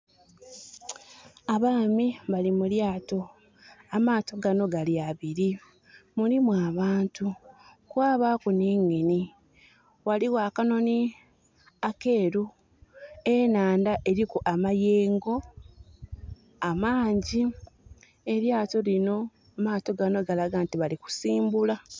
Abaami bali mu lyaato. Amaato gano gali abili. Mulimu abantu, kwabaaku nhi engine. Ghaligho akanhonhi akeeru. Enhandha eliku amayengo amangi. Elyaato lino, amaato gano galaga nti bali kusimbula.